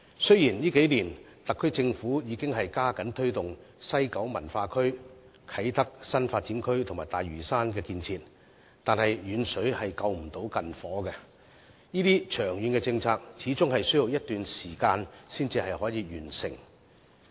雖然特區政府在這數年已加緊推動西九文化區、啟德新發展區和大嶼山等建設，但"遠水救不到近火"，這些長遠政策始終需要一段時間才可以完成。